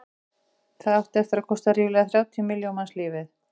það átti eftir að kosta ríflega þrjátíu milljón manns lífið